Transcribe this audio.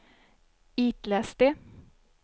itläs det